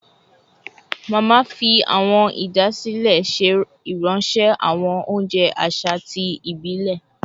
Mama fi awọn idasile ṣe iranṣẹ awọn ounjẹ aṣa ti ibilẹ